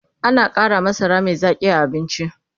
ana Kara masara Mai Zaƙi a abinci